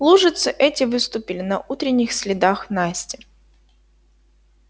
лужицы эти выступили на утренних следах насти